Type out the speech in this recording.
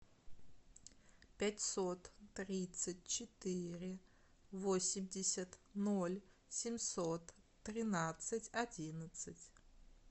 пятьсот тридцать четыре восемьдесят ноль семьсот тринадцать одиннадцать